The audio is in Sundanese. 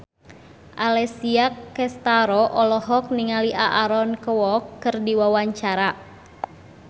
Alessia Cestaro olohok ningali Aaron Kwok keur diwawancara